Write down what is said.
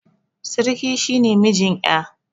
Siriki shi ne mijin ƴa.